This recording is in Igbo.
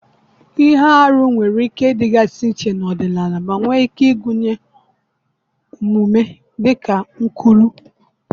Ihe arụ nwere ike ịdịgasị iche n'ọdịnala ma nwee ike ịgụnye omume dịka nkwulu.